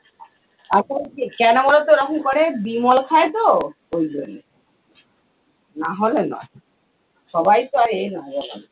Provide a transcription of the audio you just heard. কেন বলতো ওরকম করে বিমল খায় তো ঐজন্যে, নহলে নয়। সবাই তো আর এ নয় বলো না